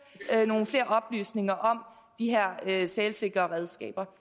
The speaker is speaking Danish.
nogle flere oplysninger om de her sælsikre redskaber